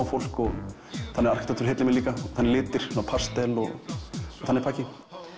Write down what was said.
fólk og þannig arkítektúr heillar mig líka og þannig litir pastel og þannig pakki